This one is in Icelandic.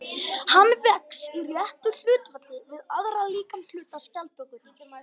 Hann vex í réttu hlutfalli við aðra líkamshluta skjaldbökunnar.